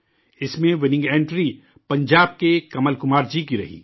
اس میں winning entry, Punjab کے، کمل کمار جی کی رہی